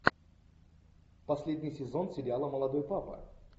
последний сезон сериала молодой папа